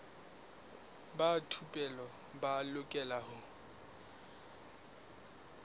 ba thupelo ba lokela ho